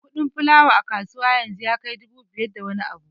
Kuɗin fulawa a kasuwa yanzu ya kai dubu biyar da wani abu